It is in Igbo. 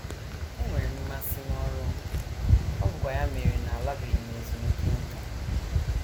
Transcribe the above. Enwere m mmasị n’ọrụ m, ọ bụkwa ya mere na alabeghị m ezumike nká. ”